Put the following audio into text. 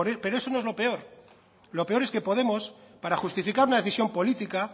pero eso no es lo peor lo peor es que podemos para justificar una decisión política